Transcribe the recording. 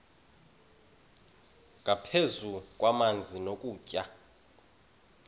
nangaphezu kwamanzi nokutya